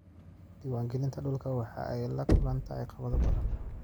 Diiwaangelinta dhulku waxa ay la kulantaa caqabado badan.